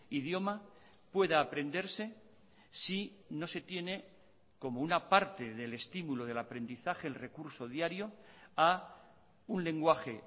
idioma pueda aprenderse si no se tiene como una parte del estímulo del aprendizaje el recurso diario a un lenguaje